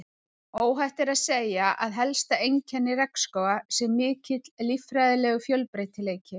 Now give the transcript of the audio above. Óhætt er að segja að helsta einkenni regnskóga sé mikill líffræðilegur fjölbreytileiki.